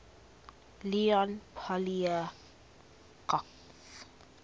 leon poliakov